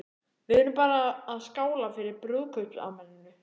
Við erum bara svona að skála fyrir brúðkaupsafmælinu.